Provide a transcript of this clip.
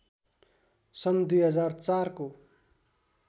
सन् २००४ को